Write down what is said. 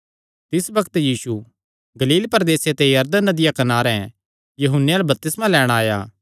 तिस बग्त यीशु गलील प्रदेसे ते यरदन नदिया कनारे यूहन्ने अल्ल बपतिस्मा लैणां आया